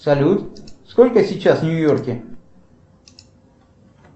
салют сколько сейчас в нью йорке